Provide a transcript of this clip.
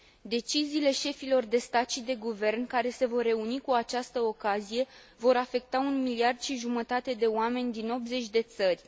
Deciziile șefilor de stat și de guvern care se vor reuni cu această ocazie vor afecta un miliard și jumătate de oameni din 80 de țări.